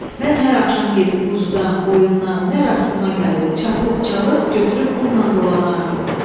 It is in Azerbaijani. Mən hər axşam gedib quzudan, qoyundan, nə rastıma gəldi çapıb, çalıb götürüb bununla dolanardım.